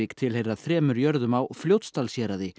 tilheyra þremur jörðum á Fljótsdalshéraði